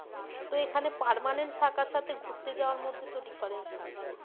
তো এখানে permanent থাকার সাথে ঘুরতে যাওয়ার মধ্যে তো difference থাকবেই।